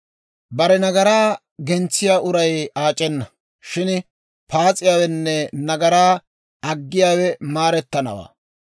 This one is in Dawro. Bare nagaraa gentsiyaa uray aac'enna; shin paas'iyaawenne nagaraa aggiyaawe maarettanawaa.